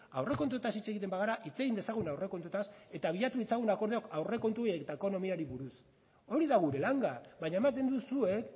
aurrekontuotaz hitz egiten bagara hitz egin dezagun aurrekontuetaz eta bilatu ditzagun akordioak aurrekontuei eta ekonomiari buruz hori da gure langa baina ematen duzue